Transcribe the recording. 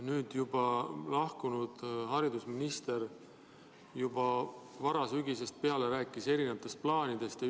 Nüüdseks juba ametist lahkunud haridusminister rääkis varasügisest peale erinevatest plaanidest.